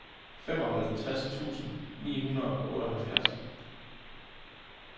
femoghalvtreds tusind ni hundrede og otteoghalvfjerds